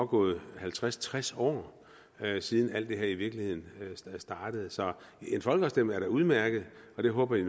gået halvtreds til tres år siden alt det her i virkeligheden startede så en folkeafstemning udmærket og det håber jeg